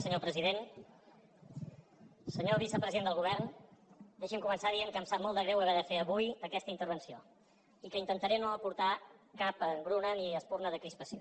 senyor vicepresident del govern deixi’m començar dient que em sap molt de greu haver de fer avui aquesta intervenció i que intentaré no aportar cap engruna ni espurna de crispació